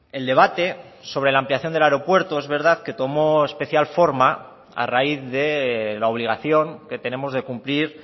el debate sobre la ampliación del aeropuerto es verdad que tomó especial forma a raíz de la obligación que tenemos de cumplir